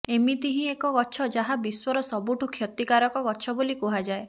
ଏମିତି ହିଁ ଏକ ଗଛ ଯାହା ବିଶ୍ୱର ସବୁଠୁ କ୍ଷତିକାରକ ଗଛ ବୋଲି କୁହାଯାଏ